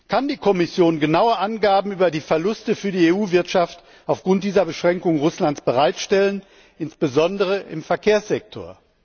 Kann die Kommission genaue Angaben über die Verluste für die EU Wirtschaft aufgrund dieser Beschränkungen Russlands bereitstellen, insbesondere im Verkehrssektor?